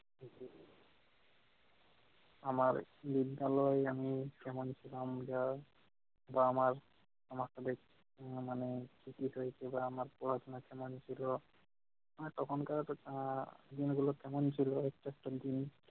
আমার বিদ্যালয় আমি যেমন ছিলাম যা বা আমরা আমার আমাদের মানে জিজ্ঞেস করত আমার পড়াশোনা কেমন ছিল তখনকার আহ দিনগুলো কেমন ছিলো exception তিনি